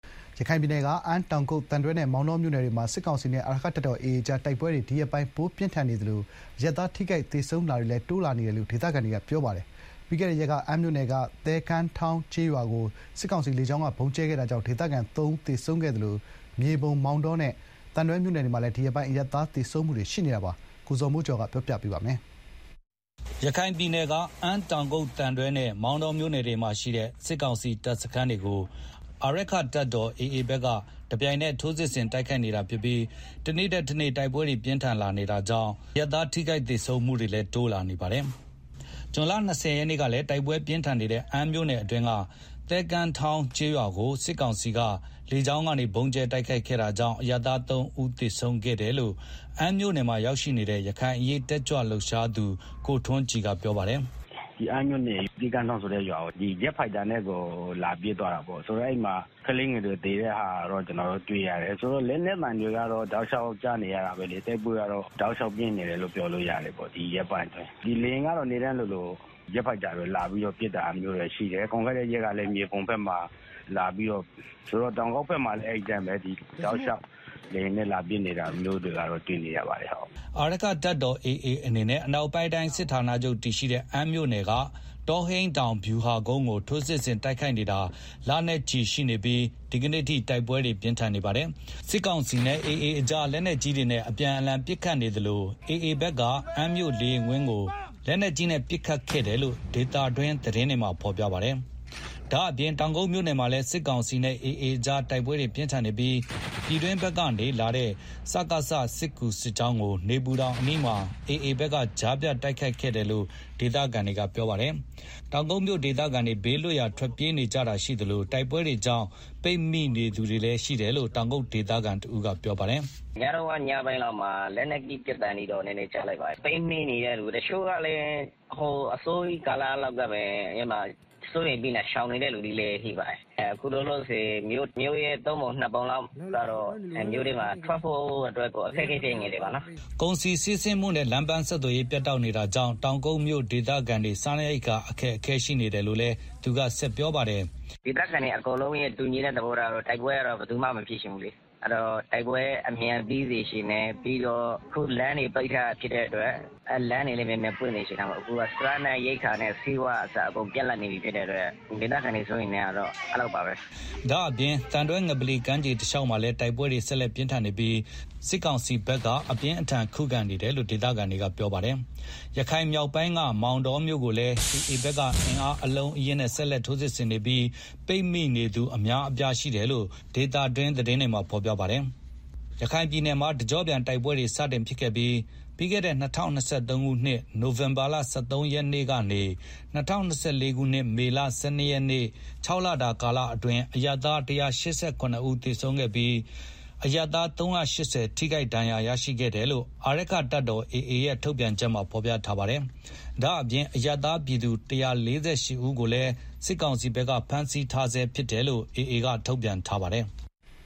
ရခိုင်ပြည်နယ် အမ်း တောင်ကုတ် သံတွဲနဲ့ မောင်တောမြို့နယ်တွေမှာ စစ်ကောင်စီနဲ့ အာရက္ခတပ်တော် AA ကြား တိုက်ပွဲတွေ ဒီရက်ပိုင်း ပိုပြင်းထန်နေသလို အရပ်သားထိခိုက် သေဆုံးတာတွေလည်း တိုးလာနေတာပါ။ ပြီးခဲ့တဲ့ရက်က အမ်းမြို့နယ်က သဲကမ်းထောင်း ကျေးရွာကို စစ်ကောင်စီက လေကြောင်းကနေ ဗုံးကြဲခဲ့တာကြောင့် ဒေသခံ ၃ ဦး သေဆုံးခဲ့တာပါ။ ဒါ့အပြင်မြေပုံ မောင်တောနဲ့ သံတွဲမြို့နယ်မှာလည်း ဒီရက်ပိုင်း အရပ်သားသေဆုံးတာတွေ ရှိနေပါတယ်။ ရန်ကုန်က ပေးပို့ထားတဲ့ သတင်းကို ဇော်မိုးကျော်က ပြောပြပါမယ်။ ရခိုင်ပြည်နယ်က အမ်း တောင်ကုတ် သံတွဲနဲ့ မောင်တောမြို့နယ်တွေမှာရှိတဲ့ စစ်ကောင်စီ တပ်စခန်းတွေကို အာရက္ခတပ်တော် AA ဘက်က တပြိုင်နက် ထိုးစစ်ဆင် တိုက်ခိုက်နေတာဖြစ်ပြီး တနေ့ထက်တနေ့ တိုက်ပွဲတွေ ပိုပြင်းထန်လာ နေတာပါ။ အခုလို တိုက်ပွဲတွေ ပြင်းထန်လာတာနဲ့အမျှ အရပ်သား ထိခိုက်သေဆုံးတာတွေလည်း တိုး လာနေပါတယ်။ ဇွန် ၂၀ ရက်နေ့ကလည်း တိုက်ပွဲ ပြင်းထန်နေတဲ့ အမ်းမြို့နယ်အတွင်းက သဲကမ်းထောင်း ကျေးရွာကို စစ်ကောင်စီတပ်က လေကြောင်းက ဗုံးကြဲခဲ့တာကြောင့် အရပ်သား ၃ ဦးသေဆုံးခဲ့တယ်လို့ အမ်းမြို့နယ်မှာနေတဲ့ ရခိုင်အရေးတက်ကြွလှုပ်ရှားသူ ကိုထွန်းကြည်က ပြောပါတယ်။ “ မနေ့ကတော့ အမ်းမြို့နယ်က သဲကမ်းထောင်းဆိုတဲ့ ရွာကို လေယာဉ်နဲ့ လာပစ်တာ ရှိတယ်။ ဂျက်ဖိုက်တာနဲ့ကို လာပစ်တာဆိုတော့ အဲဒီမှာ ကလေးငယ်တွေ သေတာ ကျနော်တို့တွေ့ရတယ် ဆိုတော့ လက်နက်သံတွေက တောက်လျောက်ကြားနေရတယ် တိုက်ပွဲက အတော် ပြင်းထန်နေတယ်လို့ ပြောလို့ရတယ်။ ဒီရက်ပိုင်းအတွင်းဆိုတော့ လေယာဉ်ကလည်း နေ့တိုင်းလိုလို ဂျက်ဖိုက်တာတွေ လာပြီးတော့ ပစ်တာရှိတယ်။ ပြီးခဲ့တဲ့ ရက်ကလည်း မြေပုံမှာ လာပစ်တာရှိတယ် မနေ့ကလည်း အမ်းမှာ လာပစ်တယ်။တောင်ကုတ်ဘက်မှာလည်း အဲဒီအတိုင်းပဲ တောက်လျောက် လေယာဉ်နဲ့ လာပစ်တာတွေ့နေရတယ်။” အာရက္ခတပ်တော် AA အနေနဲ့ အနောက်ပိုင်းတိုင်း စစ်ဌာနာချုပ်တည်ရှိတဲ့ အမ်းမြို့နယ်က တောဟိန်းတောင်ဗျူဟာကုန်းကို ထိုးစစ်ဆင် တိုက်ခိုက်နေတာ လနဲ့ချီ ရှိနေပြီး ဒီကနေ့အထိ တိုက်ပွဲတွေ ပြင်းထန်နေပါတယ်။ စစ်ကောင်စီနဲ့ AA ကြား လက်နက်ကြီးတွေနဲ့ အပြန်အလှန် ပစ်ခတ်နေကြသလို AA ဘက်က အမ်းမြို့လေယာဉ်ကွင်းကို လက်နက်ကြီးနဲ့ ပစ်ခတ်ခဲ့တယ်လို့ ဒေသတွင်းသတင်းဌာနတွေမှာ ဖော်ပြထားကြပါတယ်။ ဒါ့ပြင် တောင်ကုတ်မြို့နယ်မှာလည်း စစ်ကောင်စီနဲ့ AA ကြား တိုက်ပွဲတွေ ပြင်းထန်နေပြီး ပြည်တွင်းဘက်ကနေ စစ်ကူလာတဲ့ စစ်ကောင်စီစစ်ကြောင်းကို နေပူတောင်အနီးမှာ AA ဘက်က ကြားဖြတ် တိုက်ခိုက်ခဲ့တယ်လို့ ဒေသခံတွေ ကပြောပါတယ်။ တောက်ကုတ်မြို ဒေသခံတွေ ဘေးလွတ်ရာကို ထွက်ပြေးကြတာရှိသလို တိုက်ပွဲတွေကြောင့် ပိတ်မိနေသူတွေလည်း ရှိနေတယ်လို့ တောင်ကုတ်ဒေသခံတဦးက ပြောပါတယ်။ “ ပစ်သံခတ်သံကတော့ ညပိုင်းလောက်မှာ လက်နက်ကြီး ပစ်သံတွေတော့ နည်းနည်းကြား လိုက်တယ်။ ပိတ်မိနေတဲ့ သူတချို့ကလည်း အစောကြီး ကာလကတည်းက စိုးရိမ်ပြီးတော့ ရှောင်နေတဲ့သူတွေလည်း ရှိပါတယ်။ အခုလောလောဆယ် မြို့တဝက် မြို့ရဲ့သုံးပုံနှစ်ပုံလောက် မြို့ထဲမှာ ထွက်ဖို့ အခက်အခဲဖြစ်နေကြတယ်။” ကုန်စည်စီးဆင်းမှုနဲ့ လမ်းပန်းဆက်သွယ်ရေး ပြတ်တောက်နေတာကြောင့် တောင်ကုတ်မြိုဒေသခံတွေ စားနပ်ရိက္ခာတွေလည်း ခက်ခဲနေတယ်လို့လည်း သူက ဆက်ပြောပါတယ်။ “ ဒေသခံတွေရဲ့ တူညီတဲ့ သဘောထားကတော့ တိုက်ပွဲ အမြန်ပြီးစေချင်တယ်၊ ပြီးတော့ အခု လမ်းတွေပိတ်ထားတာဖြစ်တဲ့အတွက် လမ်းတွေလည်း မြန်မြန် ဖွင့်စေချင်တယ်၊ စားနပ်ရိက္ခာနဲ့ ဆေးဝါးကအစ အကုန်ပြတ်လပ်နေတဲ့ အတွက် ဒေသခံတွေ စိုးရိမ်နေကြတယ်။” ဒါ့အပြင် သံတွဲငပလီ ကမ်းခြေတလျောက်မှာလည်း တိုက်ပွဲတွေဆက် လက်ပြင်းထန်နေပြီး စစ်ကောင်စီဘက်က အပြင်းအထန်ခုခံ တိုက်ခိုက်နေတယ်လို့ ဒေသခံတွေက ပြောဆိုကြပါတယ်။ ရခိုင်မြောက်ပိုင်းက မောင်တောမြို့ကို AA ဘက်က အင်အား အလုံးအရင်းနဲ့ ဆက်လက် ထိုးစစ်ဆင်နေပြီး ပိတ်မိနေသူ အများအပြားရှိတယ်လို့ ဒေသတွင်း သတင်းတွေမှာ ဖော်ပြပါတယ်။ ရခိုင်ပြည်နယ်မှာ တကြော့ပြန်တိုက်ပွဲတွေ စတင်ခဲ့တဲ့ ပြီးခဲ့တဲ့ ၂၀၂၃ ခုနှစ် နိုင်ဝင်ဘာလ ၁၃ ရက်နေ့ကနေ ၂၀၂၄ ခုနှစ် မေလ ၁၂ ရက်နေ့ ၆ လတာ ကာလအတွင်း အရပ်သား ၁၈၇ ဦးသေဆုံးခဲ့ရသလို အရပ်သား ၃၈၀ ထိခိုက်ဒဏ်ရာရရှိခဲ့တယ်လို့ အာရက္ခတပ်တော် AA ရဲ့ ထုတ်ပြန်ချက်မှာ ဖော်ပြထားပါတယ်။ ဒါ့အပြင် အရပ်သားပြည်သူ ၁၄၈ ဦးကိုလည်း စစ်ကောင်စီက ဖမ်းဆီးထားဆဲဖြစ်တယ်လို့ AA ဘက်က ထုတ်ပြန်ထားပါတယ်။